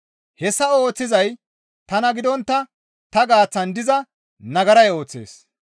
Hessa ooththizay tana gidontta ta gaaththan diza nagaray ooththees.